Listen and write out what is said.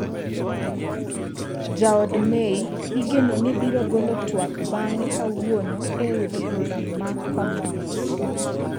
Jaod May igeno ni biro golo twak bang'e kawuono e od bura ma Commons.